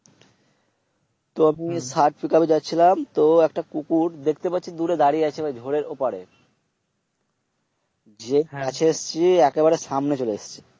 তো আমি ষাট্র Pickup এ যাচ্ছিলাম। তো একটা কুকুর দেখতে পাচ্ছি দূরে দাঁড়িয়ে আছে ঘরের উপারে। সেটি একেবারে সামনে চলে এসছে।